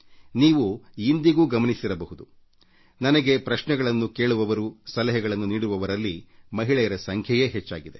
ನೀವು ಇಂದಿಗೂ ಗಮನಿಸಿರಬಹುದು ನನಗೆ ಪ್ರಶ್ನೆಗಳನ್ನು ಕೇಳುವವರು ಸಲಹೆಗಳನ್ನು ನೀಡುವವರಲ್ಲಿ ಮಹಿಳೆಯರ ಸಂಖ್ಯೆಯೇ ಹೆಚ್ಚಿದೆ